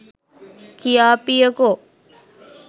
කියාපියකො?